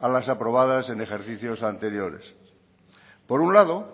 a las aprobadas en ejercicios anteriores por un lado